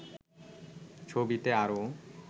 ছবিতে আরও